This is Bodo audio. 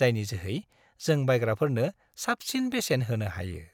जायनि जोहै जों बायग्राफोरनो साबसिन बेसेन होनो हायो।